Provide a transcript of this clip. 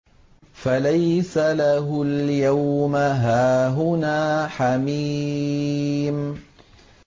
فَلَيْسَ لَهُ الْيَوْمَ هَاهُنَا حَمِيمٌ